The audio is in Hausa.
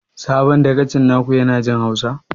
Sabon dagacin na ku ya na jin hausa?